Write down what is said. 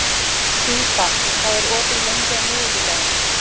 Fífa, hvað er opið lengi á miðvikudaginn?